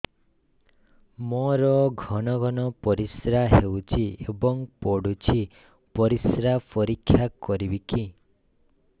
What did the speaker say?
ମୋର ଘନ ଘନ ପରିସ୍ରା ହେଉଛି ଏବଂ ପଡ଼ୁଛି ପରିସ୍ରା ପରୀକ୍ଷା କରିବିକି